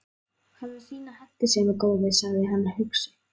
Hafðu þína hentisemi, góði, sagði hann hugsi.